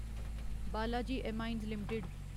Balaji Amines limited